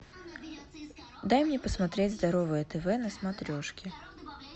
дай мне посмотреть здоровое тв на смотрешке